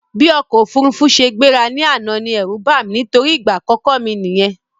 Bí ọ̀kọ̀ ofúrufú ṣe gbéra ní àná ní ẹ̀rú bàmí nítorí ìgbà àkọ́kọ́ mi nìyẹn